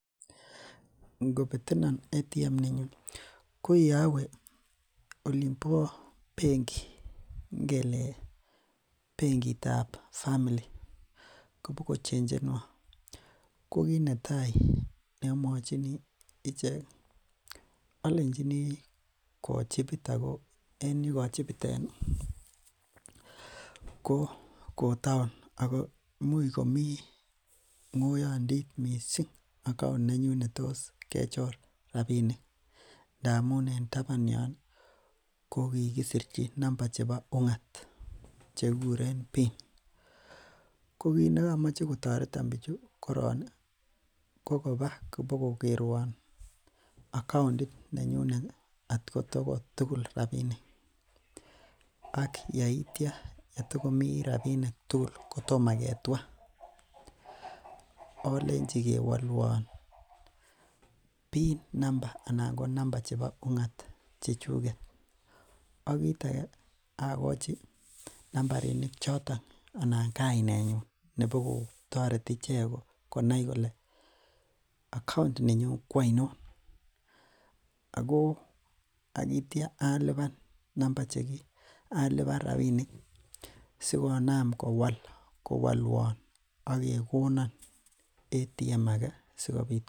Ingobetenon ATM nenyun ko yowee olimbo benki ngelee benkitab family koboko chenjenwon, ko kiit netai neomwochini ichek olenchini kochibit ak ko en yekochibiten ko kotaon ak ko imuch komii ngoyondit mising account nenyun netos kechoron rabinik amun en taban yoon ko kikisirchi namba chebo ungat chekikuren pin, ko kiit nekomoe kotoreton bichu korong ko kobaa kobo kokerwon account nenyunet kot ko tukul rabinik ak yeityo kotokomii rabinik tukul kotomo ketwaa olenji kewolwon pin number anan ko namba chebo ungat chechuket, ak kiit akee akochi nambarinik choton anan kainenyun nebokotoreti ichek konai kolee account ninyun ko ainon ak ko akityo aliban namba cheki aliban rabinik sikonam kowolwon ak kekonon ATM ake sikobit.